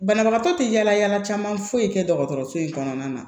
Banabagatɔ tɛ yala yala caman foyi tɛ dɔgɔtɔrɔso in kɔnɔna na